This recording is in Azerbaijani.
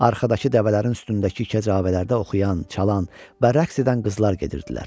Arxadakı dəvələrin üstündəki kəcavələrdə oxuyan, çalan və rəqs edən qızlar gedirdilər.